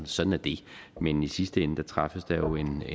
sådan er det men i sidste ende træffes der jo en